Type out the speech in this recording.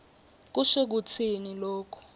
kusho kutsini loku